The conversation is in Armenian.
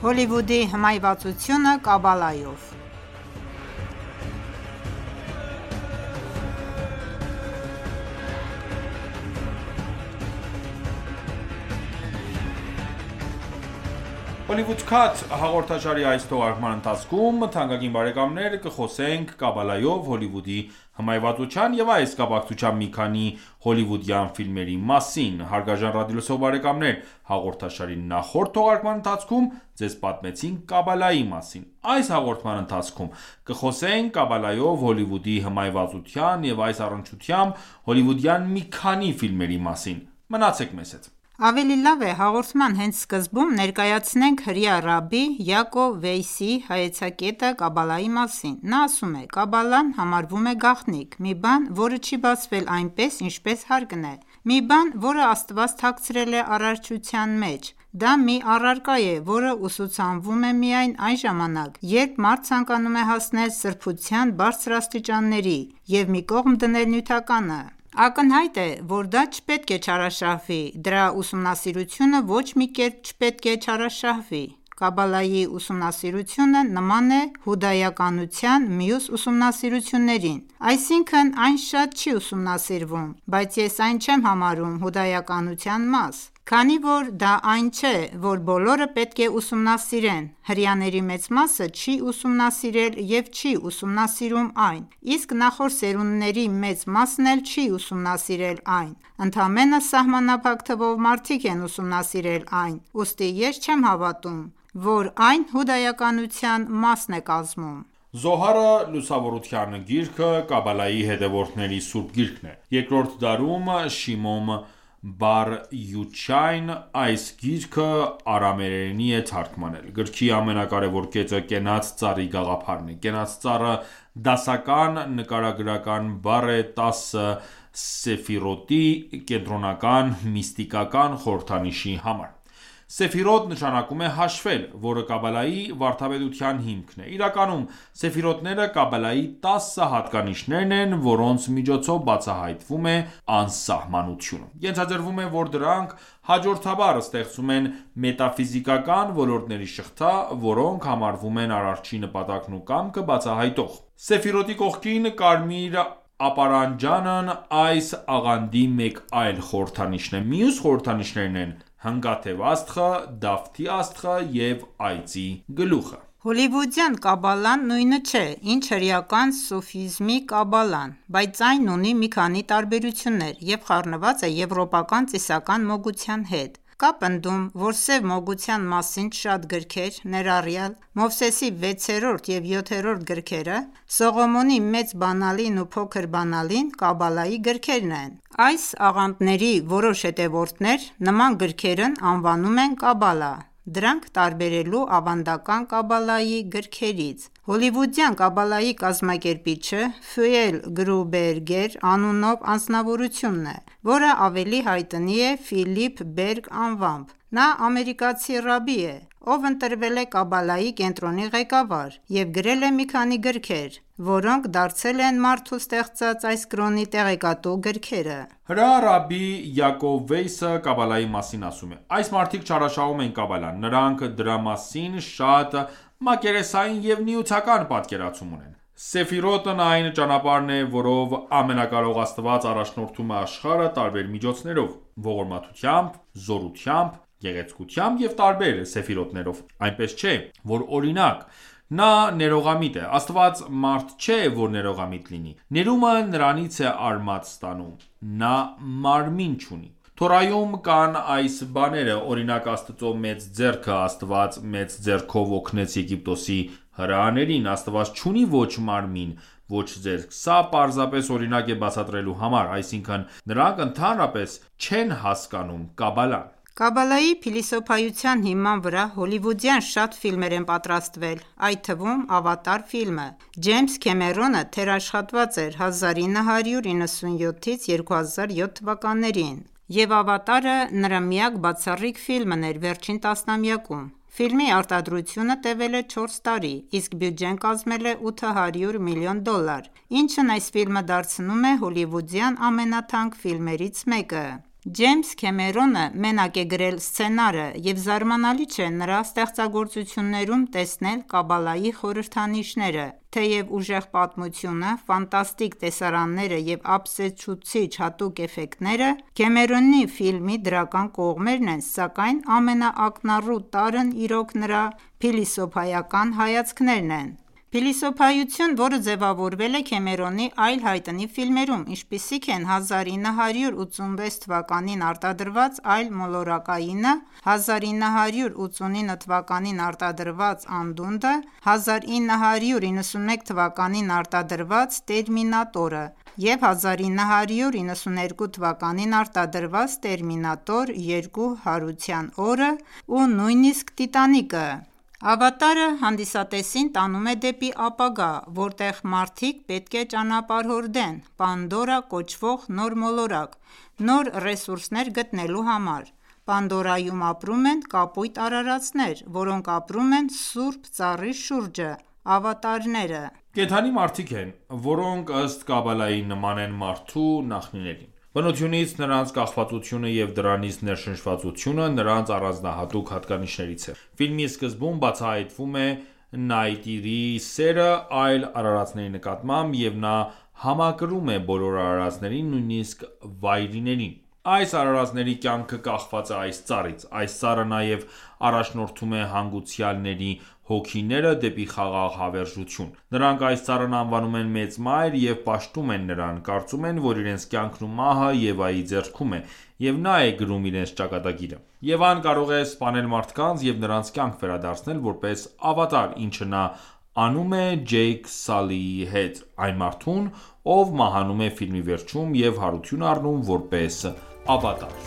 Հոլիվուդի հմայվածությունը Կաբալայով ) «Հոլիվուդ Քաթ» հաղորդաշարի այս թողարկման ընթացքում կխոսենք Կաբալայով Հոլիվուդի հմայվածության, և այս կապակցությամբ մի քանի Հոլիվուդյան ֆիլմերի մասին։ Հարգարժան ռադիոլսող բարեկամներ հաղորդաշարի նախորդ թողարկման ընթացքում ձեզ պատմեցինք Կաբալայի մասին։ Այս հաղորդման ընթացքում կխոսենք Կաբալայով Հոլիվուդի հմայվածության և այս առնչությամբ հոլիվուդյան մի քանի ֆիլմերի մասին։ Մնացեք մեզ հետ։ Ավելի լավ է հաղորդման հենց սկզբում ներկայացնենք հրեա ռաբբի Յակով Վեյսիի հայեցակետը Կաբալայի մասին։ Նա ասում է. «Կաբալան համարվում է գաղտնիք, մի բան, որը չի բացվել այնպես, ինչպես հարկն է, մի բան, որը Աստված թաքցրել է արարչության մեջ, դա մի առարկա է, որը ուսուցանվում է միայն այն ժամանակ, երբ մարդ ցանկանում է հասնել սրբության բարձր աստիճանների և մի կողմ դնել նյութականը։ Ակնհայտ է, որ դա չպետք է չարաշահվի, դրա ուսումնասիրությունը ոչ մի կերպ չպետք է չարաշահվի։ Կաբալայի ուսումնասիրությունը նման է հուդայականության մյուս ուսումնասիրություններին, այսինքն՝ այն շատ չի ուսումնասիրվում, բայց ես այն չեմ համարում հուդայականության մաս, քանի որ դա այն չէ, որ բոլորը պետք է ուսումնասիրեն, հրեաների մեծ մասը չի ուսումնասիրել և չի ուսումնասիրում այն, իսկ նախորդ սերունդների մեծ մասն էլ չի ուսումնասիրել այն, ընդամենը սահմանափակ թվով մարդիկ են ուսումնասիրել այն, ուստի ես չեմ հավատում, որ այն հուդայականության մասն է կազմում»։ Զոհարը՝ Լուսավորության գիրքը, Կաբալայի հետևորդների սուրբ գիրքն է։ Երկրորդ դարում Շիմոն բար Յոչայն այս գիրքը արամեերենի է թարգմանել։ Գրքի ամենակարևոր կետը կենաց ծառի գաղափարն է: Կենաց ծառը դասական նկարագրական բառ է տասը Սեֆիրոտի կենտրոնական միստիկական խորհրդանիշի համար: Սեֆիրոտ նշանակում է «հաշվել», որը Կաբալայի վարդապետության հիմքն է։ Իրականում Սեֆիրոտները Կաբալայի տասը հատկանիշերն են, որոնց միջոցով բացահայտվում է անսահմանությունը: Ենթադրվում է, որ դրանք հաջորդաբար ստեղծում են մետաֆիզիկական ոլորտների շղթա, որոնք համարվում են Արարչի նպատակն ու կամքը բացահայտող: Սեֆիրոտի կողքին կարմիր ապարանջանն այս աղանդի մեկ այլ խորհրդանիշ է: Մյուս խորհրդանիշներն են՝ հնգաթև աստղը, Դավթի աստղը և այծի գլուխը։ Հոլիվուդյան Կաբալան նույնը չէ, ինչ հրեական սուֆիզմի կաբալան, բայց այն ունի մի քանի տարբերություններ և խառնված է եվրոպական ծիսական մոգության հետ: Կա պնդում, որ սև մոգության մասին շատ գրքեր, ներառյալ Մովսեսի վեցերորդ և յոթերորդ գրքերը, Սողոմոնի Մեծ Բանալին ու Փոքր Բանալին Կաբալայի գրքեր են: Այս աղանդների որոշ հետևորդներ նման գրքերն անվանում են Քաբալա ՝ դրանք տարբերելու ավանդական Կաբալայի գրքերից։ Հոլիվուդյան Կաբալայի կազմակերպիչը Ֆյուել Գրուբերգեր անունով անձնավորությունն է, որը ավելի հայտնի է Ֆիլիպ Բերգ անվամբ, նա ամերիկացի ռաբբի է, ով ընտրվել է Կաբալայի կենտրոնի ղեկավար և գրել է մի քանի գրքեր, որոնք դարձել են մարդու ստեղծած այս կրոնի տեղեկատու գրքերը: Հրեա ռաբբի Յակով Վեյսը Կաբալայի մասին ասում է. «Այս մարդիկ չարաշահում են Կաբալան, նրանք դրա մասին շատ մակերեսային և նյութական պատկերացում ունեն։ Սեֆիրոտն այն ճանապարհն է, որով Ամենակարող Աստված առաջնորդում է աշխարհը տարբեր միջոցներով՝ ողորմությամբ, զորությամբ, գեղեցկությամբ և տարբեր սեֆիրոտներով: Այնպես չէ, որ, օրինակ, նա ներողամիտ է, Աստված մարդ չէ, որ ներողամիտ լինի, ներումը նրանից է արմատ ստանում, նա մարմին չունի։ Թորայում կան այս բաները, օրինակ՝ Աստծո մեծ ձեռքը, Աստված մեծ ձեռքով օգնեց Եգիպտոսի հրեաներին: Աստված չունի ոչ մարմին, ոչ ձեռք, սա պարզապես օրինակ է բացատրելու համար: Այսինքն՝ նրանք ընդհանրապես չեն հասկանում Կաբալան»: Կաբալայի փիլիսոփայության հիման վրա հոլիվուդյան շատ ֆիլմեր են պատրաստվել, այդ թվում՝ «Ավատար» ֆիլմը։ Ջեյմս Քեմերոնը թերաշխատված էր 1997-2007 թվականներին, և «Ավատարը» նրա միակ բացառիկ ֆիլմն էր վերջին տասնամյակում: Ֆիլմի արտադրությունը տևել է չորս տարի, իսկ բյուջեն կազմել է 800 միլիոն դոլար, ինչն այս ֆիլմը դարձնում է հոլիվուդյան ամենաթանկ ֆիլմերից մեկը։ Ջեյմս Քեմերոնը մենակ է գրել սցենարը, և զարմանալի չէ նրա ստեղծագործություններում տեսնել Կաբալայի խորհրդանիշները: Թեև ուժեղ պատմությունը, ֆանտաստիկ տեսարանները և ապշեցուցիչ հատուկ էֆեկտները Քեմերոնի ֆիլմի դրական կողմերն են, սակայն ամենաակնառու տարրն իրոք նրա փիլիսոփայական հայացքներն են: Փիլիսոփայություն, որը ձևավորվել է Քեմերոնի այլ հայտնի ֆիլմերում, ինչպիսիք են 1986-ին արտադրված Այլմոլորակայինը, 1989-ին արտադրված Անդունդը, 1991-ին արտադրված Տերմինատորը, 1992-ին արտադրված «Տերմինատոր 2՝ հարության օրը» և նույնիսկ «Տիտանիկը»: Ավատարը հանդիսատեսին տանում է դեպի ապագա, որտեղ մարդիկ պետք է ճանապարհորդեն Պանդորա կոչվող նոր մոլորակ՝ նոր ռեսուրսներ գտնելու համար: Պանդորայում ապրում են կապույտ արարածներ, որոնք ապրում են սուրբ ծառի շուրջը: Ավատարները կենդանի-մարդիկ են, որոնք, ըստ Կաբալայի, նման են մարդու նախնիներին: Բնությունից նրանց կախվածությունը և դրանից ներշնչվածությունը նրանց առանձնահատուկ հատկանիշներից է։ Ֆիլմի սկզբում բացահայտվում է Նայտիրիի սերը այլ արարածների նկատմամբ, և նա համակրում է բոլոր արարածներին, նույնիսկ վայրիներին։ Այս արարածների կյանքը կախված է այս ծառից։ Այս ծառը նաև առաջնորդում է հանգուցյալների հոգիները դեպի խաղաղ հավերժություն: Նրանք այս ծառն անվանում են մեծ մայր և պաշտում են նրան, կարծում են, որ իրենց կյանքն ու մահը Եվայի ձեռքում է, և նա է գրում իրենց ճակատագիրը։ Եվան կարող է սպանել մարդկանց և նրանց կյանք վերադարձնել որպես ավատար, ինչը նա անում է Ջեյք Սալիի հետ՝ այն մարդուն, ով մահանում է ֆիլմի վերջում և հարություն առնում որպես ավատար։